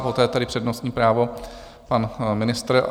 Poté je tady přednostní právo - pan ministr.